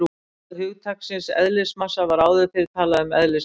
Í stað hugtaksins eðlismassa var áður fyrr talað um eðlisþyngd.